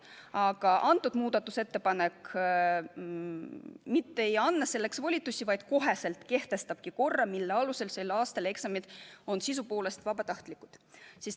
Aga kõnealune muudatusettepanek mitte ei anna selleks volitusi, vaid kohe kehtestabki korra, et sel aastal eksamid on sisuliselt vabatahtlikud.